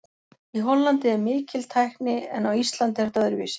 Í Hollandi er mikil tækni en á Íslandi er þetta öðruvísi.